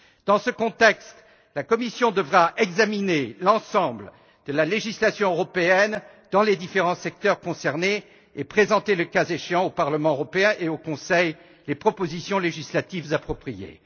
Dans ce contexte, la Commission devra examiner l'ensemble de la législation européenne dans les différents secteurs concernés et présenter le cas échéant au Parlement européen et au Conseil les propositions législatives appropriées.